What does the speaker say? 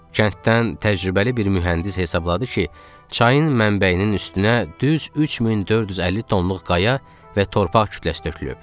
Kənddən təcrübəli bir mühəndis hesabladı ki, çayın mənbəyinin üstünə düz 3450 tonluq qaya və torpaq kütləsi tökülüb.